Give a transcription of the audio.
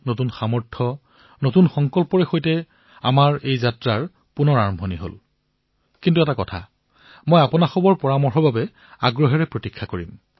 নতুন ভাৱ নতুন অনুভূতি নতুন সংকল্প নতুন সামৰ্থ কিন্তু হয় মই আপোনালোকৰ পৰামৰ্শৰ বাবে অপেক্ষা কৰিম